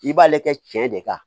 I b'ale kɛ cɛn de ka